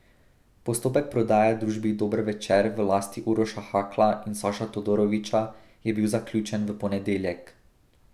Postopek prodaje družbi Dober Večer v lasti Uroša Hakla in Saša Todorovića je bil zaključen v ponedeljek.